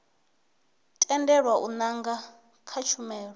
tendelwa u nanga kha tshumelo